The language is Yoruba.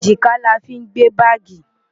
Èjìká la fí ń gbé báàgì.